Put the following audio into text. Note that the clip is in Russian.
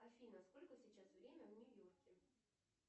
афина сколько сейчас время в нью йорке